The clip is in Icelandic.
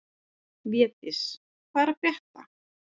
Védís, hvað er að frétta?